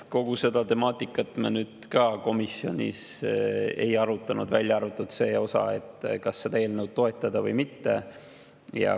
Kogu seda temaatikat me komisjonis ei arutanud, välja arvatud seda, kas seda eelnõu toetada või mitte.